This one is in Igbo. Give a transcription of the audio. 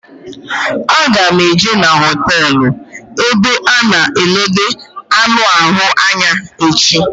A ga m eje n'hotelu ebe a na enode anụ ahụ anya echi